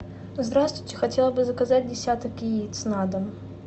здравствуйте хотела бы заказать десяток яиц на дом